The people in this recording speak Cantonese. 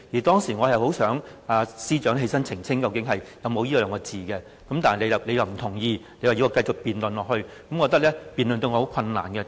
當時，我其實很希望司長能站起來澄清究竟有沒有這兩個字，但你不同意，要我繼續辯論下去，我覺得這樣辯論對我很困難，為甚麼？